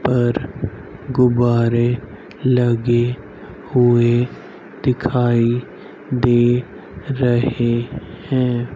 पर गुब्बारे लगे हुए दिखाई दे रहे हैं।